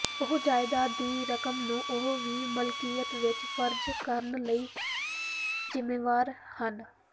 ਉਹ ਜਾਇਦਾਦ ਦੀ ਰਕਮ ਨੂੰ ਉਹ ਦੀ ਮਲਕੀਅਤ ਵਿਚ ਫਰਜ਼ ਕਰਨ ਲਈ ਜ਼ਿੰਮੇਵਾਰ ਹਨ